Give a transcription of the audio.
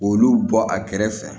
Olu bɔ a kɛrɛfɛ